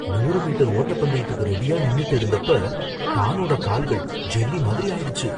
நூறு மீட்டர் ஓட்டப்பந்தயத்துக்கு ரெடியா நின்னுட்டு இருந்தப்ப, டானோட கால்கள் ஜெல்லி மாதிரி ஆயிடுச்சு.